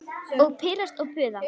Og pirrast og puða.